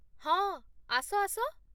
ହଁ, ଆସ ଆସ